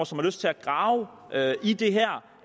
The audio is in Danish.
som har lyst til at grave i det her